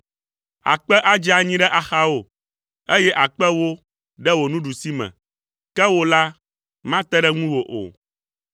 Akpe adze anyi ɖe axawò, eye akpe ewo ɖe wò nuɖusime, ke wò la, mate ɖe ŋuwò o.